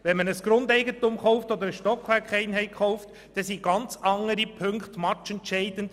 Wenn man Grundeigentum oder eine Stockwerkeinheit kauft, sind ganz andere Punkte entscheidend;